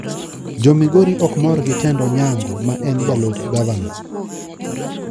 Jo Migori okmor gi tend onyango ma en jalup gavana